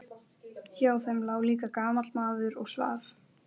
Hjá þeim lá líka gamall maður og svaf.